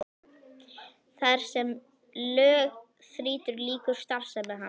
Þar sem lög þrýtur lýkur starfsemi hans.